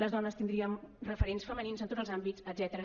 les dones tindríem referents femenins en tots els àmbits etcètera